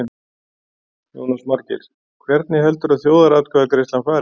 Jónas Margeir: Hvernig heldurðu að þjóðaratkvæðagreiðslan fari?